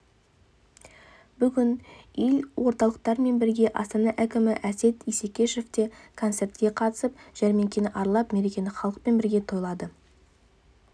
бүгін елордалықтармен бірге астана әкімі әсет исекешев те концертке қатысып жәрмеңкені аралап мерекені халықпен бірге тойлады